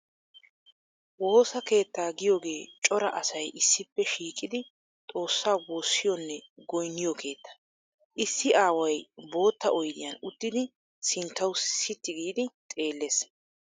Woosa keettaa giyoogee cora asay issippe shiiqidi xoossaa woosiyoonne goynniyoo keettaa. Issi aaway bootta oyddyan uttidi sinttawu sitti giidi xeellees.